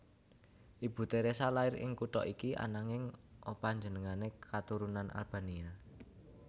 Ibu Theresa lair ing kutha iki ananging opanjenengané katurunan Albania